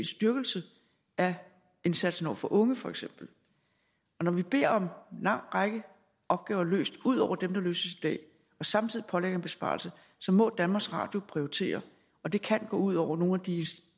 styrkelse af indsatsen over for unge for eksempel når vi beder om lang række opgaver løst ud over dem der løses i dag og samtidig pålægger en besparelse så må danmarks radio prioritere og det kan gå ud over nogle af de